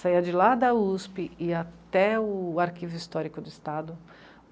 Saía de lá da u esse pê e ia até o Arquivo Histórico do Estado.